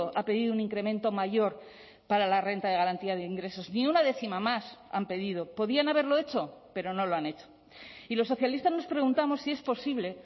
ha pedido un incremento mayor para la renta de garantía de ingresos ni una décima más han pedido podían haberlo hecho pero no lo han hecho y los socialistas nos preguntamos si es posible